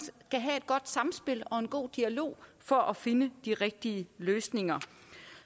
skal have et godt samspil og en god dialog for at finde de rigtige løsninger